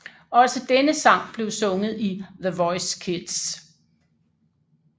Også denne sang blev sunget i The Voice Kids